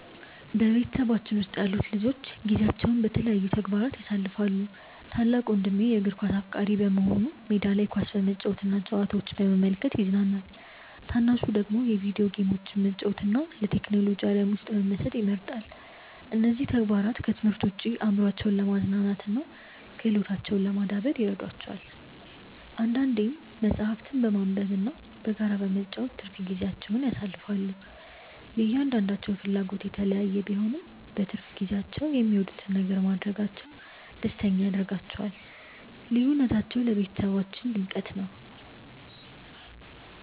በቤተሰባችን ውስጥ ያሉት ልጆች ጊዜያቸውን በተለያዩ ተግባራት ያሳልፋሉ። ታላቅ ወንድሜ የእግር ኳስ አፍቃሪ በመሆኑ ሜዳ ላይ ኳስ በመጫወትና ጨዋታዎችን በመመልከት ይዝናናል። ታናሹ ደግሞ የቪዲዮ ጌሞችን መጫወትና በቴክኖሎጂ ዓለም ውስጥ መመሰጥ ይመርጣል። እነዚህ ተግባራት ከትምህርት ውጭ አእምሯቸውን ለማዝናናትና ክህሎታቸውን ለማዳበር ይረዷቸዋል። አንዳንዴም መጽሐፍትን በማንበብና በጋራ በመጫወት ትርፍ ጊዜያቸውን ያሳልፋሉ። የእያንዳንዳቸው ፍላጎት የተለያየ ቢሆንም፣ በትርፍ ጊዜያቸው የሚወዱትን ነገር ማድረጋቸው ደስተኛ ያደርጋቸዋል። ልዩነታቸው ለቤተሰባችን ድምቀት ነው።